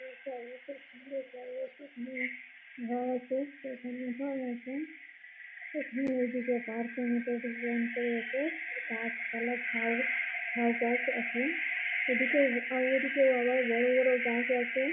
এই জায়গাটা সুন্দর জায়গাটির এখানে ঘর আছে এখানে ঘর আছে এখানে এদিকে পার্ক -এর মতো ডিসাইন করেছে। গাছপালা ঝাউ ঝাউগাছ আছে এদিকে আবার এদিকে আবার বড় বড় গাছ আছে ।